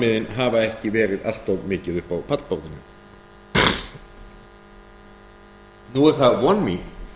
sanngirnissjónarmiðin hafa ekki verið allt of mikið uppi á pallborðið nú er það von mín